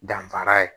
Danfara ye